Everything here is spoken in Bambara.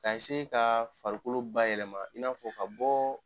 Ka ka farikolo bayɛlɛma in n'a fɔ ka bɔ